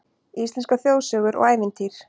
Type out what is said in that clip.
Íslenskar þjóðsögur og ævintýr